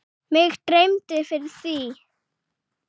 Mig dreymdi fyrir því.